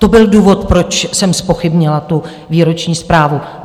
To byl důvod, proč jsem zpochybnila tu výroční zprávu.